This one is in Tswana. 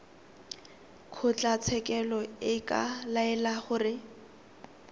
kgotlatshekelo e ka laela gore